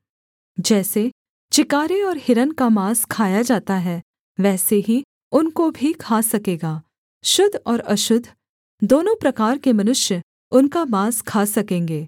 जैसे चिकारे और हिरन का माँस खाया जाता है वैसे ही उनको भी खा सकेगा शुद्ध और अशुद्ध दोनों प्रकार के मनुष्य उनका माँस खा सकेंगे